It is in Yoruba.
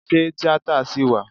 Ṣé tíátà ṣì wà?